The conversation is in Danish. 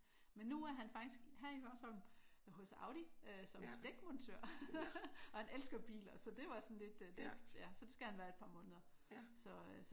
Men nu er han faktisk her i Hørsholm hos Audi øh som dækmontør. Og han elsker biler så det var sådan lidt det ja. Så det skal han være et par måneder. Så